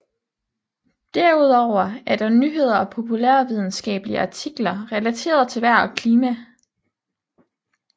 Derudover er der nyheder og populærvidenskabelige artikler relateret til vejr og klima